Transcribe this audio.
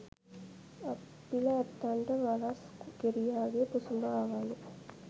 අප්පිල ඇත්තන්ට වලස් ගෙරියාගේ පුසුඹ ආවාලු.